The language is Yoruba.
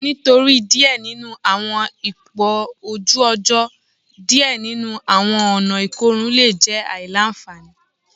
Nitori diẹ ninu awọn ipo oju ojo, diẹ ninu awọn ọna ikorun le kan jẹ aila-nfani